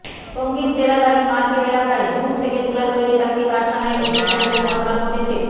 টঙ্গীর চেরাগ আলী মার্কেট এলাকায় ঝুট থেকে তুলা তৈরীর একটি কারখানায় অগ্নিকাণ্ডের ঘটনা ঘটেছে